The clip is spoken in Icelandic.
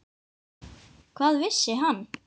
Hvað vissi hann?